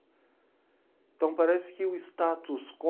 Então parece que o status quo...